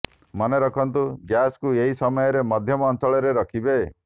ମନେ ରଖନ୍ତୁ ଗ୍ୟାସ୍କୁ ଏହି ସମୟରେ ମଧ୍ୟମ ଆଞ୍ଚରେ ରଖିବେ